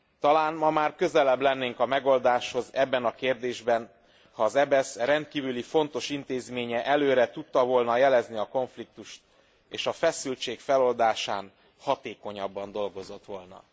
Talán ma már közelebb lennénk a megoldáshoz ebben a kérdésben, ha az EBESZ rendkívüli fontos intézménye előre tudta volna jelezni a konfliktust és a feszültség feloldásán hatékonyabban dolgozott volna.